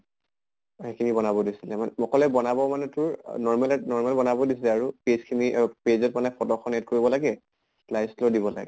সেইখিনি বনাব দিছিলে। মোক কলে বনাব মানে তোৰ আহ normal ত normal বনাব দিছিলে আৰু। page খিনি অ page ত মানে photo খন add কৰিব লাগে slide slow দিব লাগে